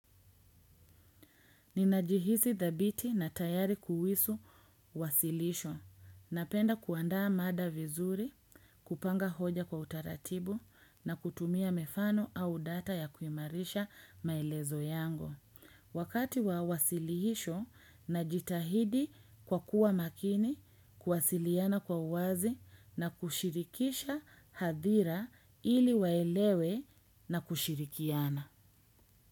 Ninajihisi thabiti na tayari kuhusu wasilisho, napenda kuandaa mada vizuri, kupanga hoja kwa utaratibu na kutumia mifano au data ya kuimarisha maelezo yangu. Wakati wa wasilisho, najitahidi kwa kuwa makini, kuwasiliana kwa uwazi na kushirikisha hadhira ili waelewe na kushirikiana.